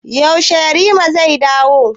Yaushe yarima zai dawo?